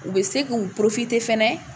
U bɛ se k'u fana